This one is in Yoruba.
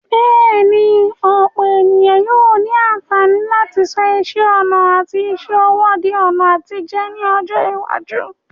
Bẹ́ẹ̀ni, ọ̀pọ̀ ènìyàn yóò ní àǹfààní láti sọ iṣẹ́ ọnà àti iṣẹ́ ọwọ́ di ọ̀nà àtijẹ ní ọjọ́ iwájú.